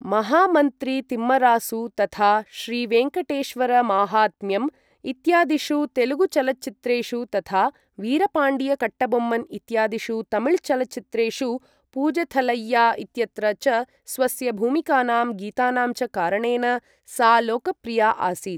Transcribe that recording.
महामन्त्रितिम्मरासु तथा श्रीवेङ्कटेश्वरमाहात्म्यम् इत्यादिषु तेलुगुचलच्चित्रेषु तथा वीरपाण्डियकट्टबोम्मन इत्यादिषु तमिलचलच्चित्रेषु पूजथलैया इत्यत्र च स्वस्य भूमिकानां गीतानां च कारणेन सा लोकप्रिया आसीत् ।